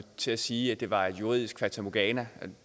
til at sige at det var et juridisk fatamorgana